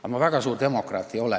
Aga ma väga suur demokraat ei ole.